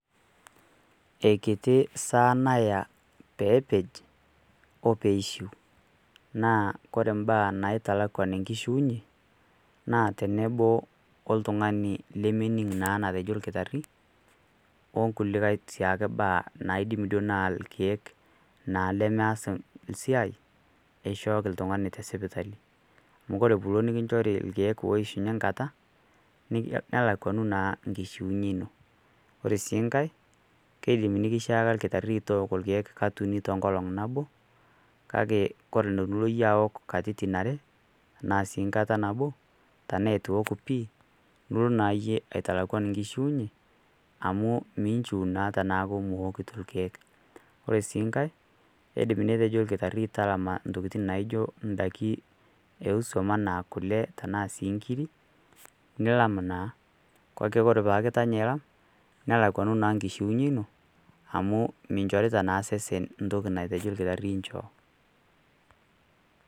Eikiti saa naya peepej o peeishu naa kore imbaa naitalakuan enkishiunye naa tenebo oltung'ani lemening' naa natejo olkitarri onkulikae sii ake baa naaidim duo naa ilkeek naa lemeas siai eishooki ltung'ani te sipitali. Amu kore pilo nikunchori ilkeek oishunye nkata nelakuanu naa nkishuinye ino ore sii ngai keidim neikishaaka lkitarri tooko ilkeek kat uni tenkolong' nabo kake kore tonilo iyie aok katitin are anaa sii nkata nabo tenaaeitu iok pii nilo naayie aitalakuana nkishiunye amu minchiu naa tenaaku miwokito ilkeek. Ore sii ngai eidim netejo lkitarri talama intokitin naijo indaki osuam anaa kole anaa sii nkiri nilam naa, kake kore paaku itanya ilam nelakuanu naa nkishiunye ino amu minchorita naa sesen ntoki natejo lkitarri inchoo.